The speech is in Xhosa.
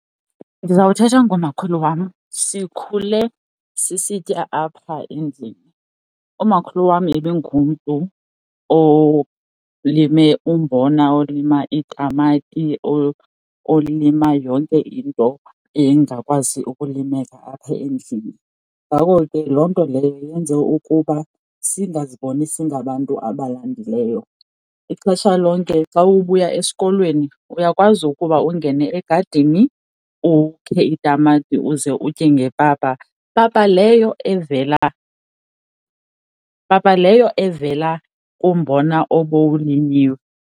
Ndizawuthetha ngomakhulu wam. Sikhule sisitya apha endlini. Umakhulu wam ibingumntu olime umbona, olima iitamati, olima yonke into engakwazi ukulimeka apha endlini. Ngako ke, loo nto leyo yenze ukuba singaziboni singabantu abalambileyo. Ixesha lonke xa ubuya esikolweni uyakwazi ukuba ungene egadini ukhe itamati uze utye ngepapa. Papa leyo evela, papa leyo evela kumbona obulinyiwe.